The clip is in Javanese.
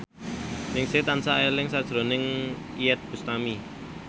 Ningsih tansah eling sakjroning Iyeth Bustami